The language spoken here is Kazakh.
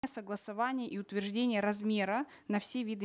согласования и утверждения размера на все виды